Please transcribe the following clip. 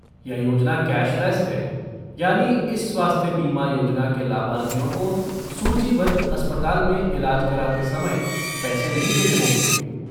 यह योजना कैशलेस है, यानी इस स्वास्थ्य बीमा योजना के लाभार्थियों को सूचीबद्ध अस्पताल में इलाज कराते समय पैसे नहीं देने होंगे।